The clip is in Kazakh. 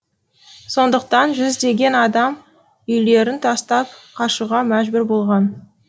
сондықтан жүздеген адам үйлерін тастап қашуға мәжбүр болған